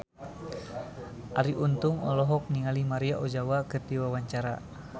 Arie Untung olohok ningali Maria Ozawa keur diwawancara